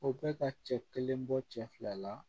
O bɛ ka cɛ kelen bɔ cɛ fila la